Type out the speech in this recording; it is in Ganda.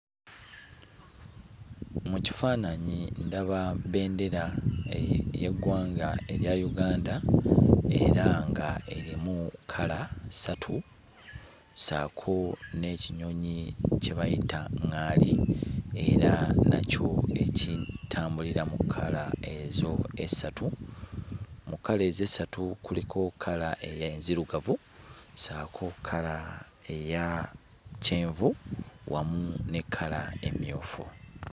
Mu kifaananyi ndaba bbendera ey'eggwanga erya Uganda era nga erimu kkala ssatu, ssaako n'ekinyonyi kye bayita ŋŋaali era nakyo ekitambulira mu kkala ezo essatu. Mu kkala ezo essatu kuliko kkala enzirugavu saako kkala eya kyenvu wamu ne kkala emmyufu.